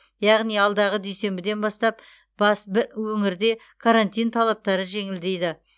яғни алдағы дүйсенбіден бастап бас б өңірде карантин талаптары жеңілдейді